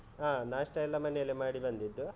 ಹಾ, ನಾಷ್ಟ ಎಲ್ಲ ಮನೇಲೆ ಮಾಡಿ ಬಂದಿದ್ದು.